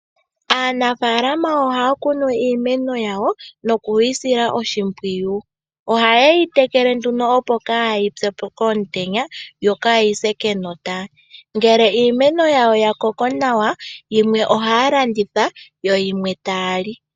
Aanafalama ohaya kunu iimeno yawo nokuyi sila oshimpwiyu. Ohaye yitekele opo kaayitsepo komutenya nenge yise kenota, ngele iimeno yawo yakoko nawa yimwe ohaya landitha yimwe taya li.